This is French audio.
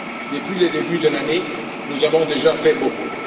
Depuis le début de l'année, nous avons déjà fait beaucoup.